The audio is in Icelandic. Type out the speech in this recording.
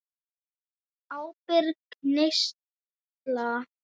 Ábyrg neysla.